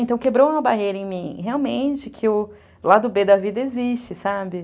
Então, quebrou uma barreira em mim, realmente, que o lado bê da vida existe, sabe?